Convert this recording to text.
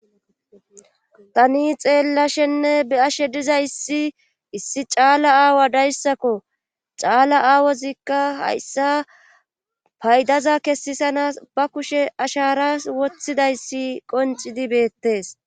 Tani xeelashenne be7aashe dizayssi issi caala aawa dayssako caala aawazikka hayssa paydaza kesisanaas ba kushe asharaas wothidayssi qonccidi beettees.